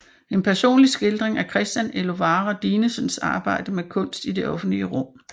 En personlig skildring af Christian Elovara Dinesens arbejde med kunst i det offentlige rum